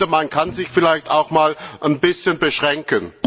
Man kann sich vielleicht auch einmal ein bisschen beschränken!